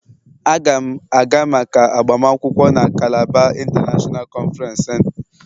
Aga m aga maka agbamakwụkwọ na Calabar international conference center.